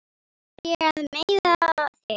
Var ég að meiða þig?